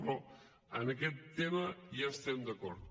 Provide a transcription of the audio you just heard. però en aquest tema ja estem d’acord